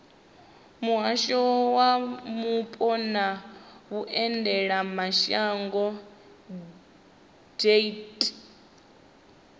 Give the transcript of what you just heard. muhasho wa mupo na vhuendelamashango deat